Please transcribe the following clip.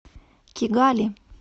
кигали